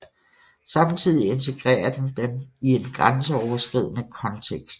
Samtidig integrerer den dem i en grænseoverskridende kontekst